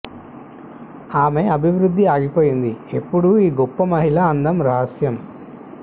ఆమె అభివృద్ధి ఆగిపోయింది ఎప్పుడూ ఈ గొప్ప మహిళ అందం రహస్యం